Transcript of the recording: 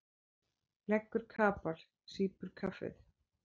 Leggur kapal, sýpur kaffið.